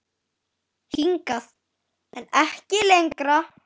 Hingað, en ekki lengra.